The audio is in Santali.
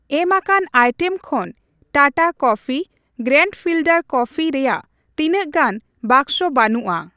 ᱮᱢᱟᱠᱟᱱ ᱟᱭᱴᱮᱢ ᱠᱷᱚᱱ Tata coffee grand filter coffee ᱨᱮᱭᱟᱜ ᱛᱤᱱᱟᱹᱜ ᱜᱟᱱ ᱵᱟᱠᱥᱚ ᱵᱟᱱᱩᱜᱼᱟ ᱾